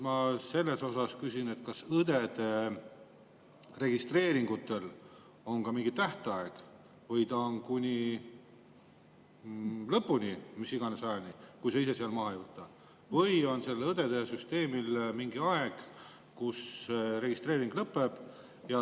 Ma küsin, kas õdede registreeringutel on ka mingi tähtaeg või on see seal kuni lõpuni, mis iganes ajani, kui sa ise seda maha ei võta, või on mingi aeg, kui registreeringu lõpeb.